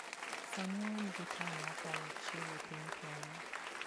Sani wan gi taon mokalo achiel e piny Kenya.